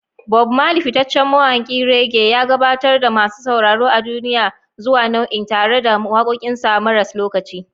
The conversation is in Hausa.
Bob Marley, fitaccen mawakin reggae, ya gabatar da masu sauraro a duniya zuwa nau'in tare da wakokinsa maras lokaci.